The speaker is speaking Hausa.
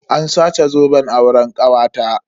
An sace zoben auren kawata.